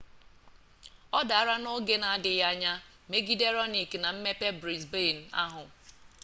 ọ dara n'oge na-adịghị anya megide raonic na mmepe brisbane ahụ